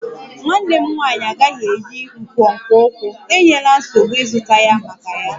Nwanne m nwanyị agaghị eyi nkwonkwo ụkwụ, enyela nsogbu ịzụta ya maka ya